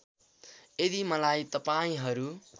यदि मलाई तपाईँहरू